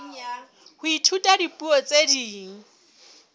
ho ithuta dipuo tse ding